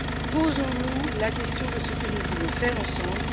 Posons nous la question de ce que nous voulons faire ensemble